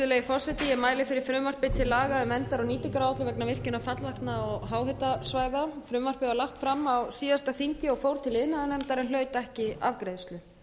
virðulegi forseti ég mæli fyrir frumvarpi til laga um verndar og nýtingaráætlun vegna fallvatna og háhitasvæða frumvarpið var lagt fram á síðasta þingi og fór til iðnaðarnefndar en hlaut ekki afgreiðslu